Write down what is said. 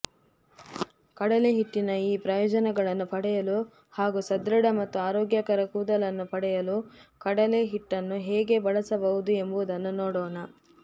ಕಡಲೆಹಿಟ್ಟಿನ ಈ ಪ್ರಯೋಜನಗಳನ್ನು ಪಡೆಯಲು ಹಾಗೂ ಸದೃಢ ಮತ್ತು ಆರೋಗ್ಯಕರ ಕೂದಲನ್ನು ಪಡೆಯಲು ಕಡಲೆಹಿಟ್ಟನ್ನು ಹೇಗೆ ಬಳಸಬಹುದು ಎಂಬುದನ್ನು ನೋಡೋಣ